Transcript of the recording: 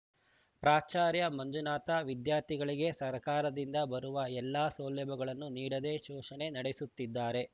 ಪ್ರಾಚಾರ್ಯ ಮಂಜುನಾಥ ವಿದ್ಯಾರ್ಥಿಗಳಿಗೆ ಸರ್ಕಾರದಿಂದ ಬರುವ ಎಲ್ಲಾ ಸೌಲಭ್ಯಗಳನ್ನು ನೀಡದೆ ಶೋಷಣೆ ನಡೆಸುತ್ತಿದ್ದಾರೆ